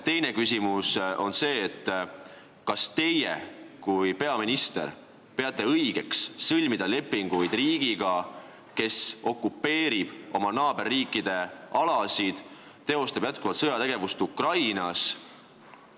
Teine küsimus on see: kas teie kui peaminister peate õigeks sõlmida lepinguid riigiga, kes okupeerib oma naaberriikide alasid ja teostab jätkuvalt sõjategevust Ukrainas?